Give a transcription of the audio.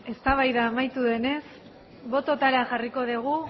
eztabaida amaitu denez bototara jarriko dugu